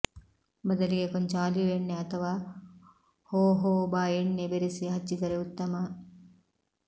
ಬದಲಿಗೆ ಕೊಂಚ ಆಲಿವ್ ಎಣ್ಣೆ ಅಥವಾ ಹೋಹೋಬಾ ಎಣ್ಣೆ ಬೆರೆಸಿ ಹಚ್ಚಿದರೆ ಉತ್ತಮ